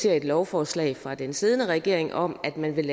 et lovforslag fra den siddende regering om at man vil